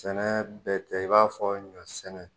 Sɛnɛ bɛ tɛ i b'a fɔ ɲɔ sɛnɛ